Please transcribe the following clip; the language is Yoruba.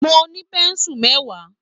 Mo ní pẹ̀nsu mẹwa